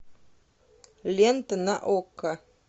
лента на окко